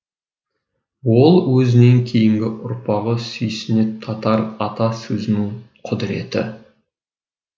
ол өзінен кейінгі ұрпағы сүйсіне татар ата сөзінің құдыреті